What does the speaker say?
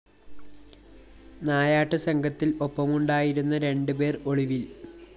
നായാട്ടു സംഘത്തില്‍ ഒപ്പമുണ്ടായിരുന്ന രണ്ടു പേര്‍ ഒളിവില്‍